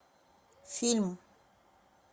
фильм